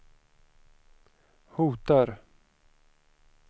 hotar